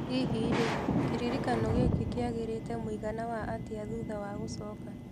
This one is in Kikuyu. Hihi rĩ , kĩririkano giki kiagĩrĩte mũigana wa atia thutha wa gũcooka.